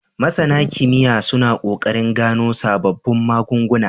MasAna kimiya suna kokarin gano sababbun magun guna